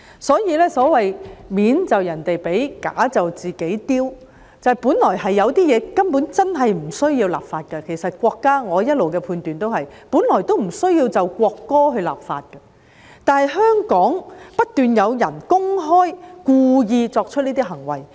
所謂"面就人哋俾，架就自己丟"，本來有些東西根本真的不需要立法，我一直的判斷是本來也不需要就國歌立法，但香港不斷有人公開故意作出這些行為。